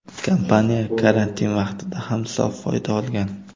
Kompaniya karantin vaqtida ham sof foyda olgan.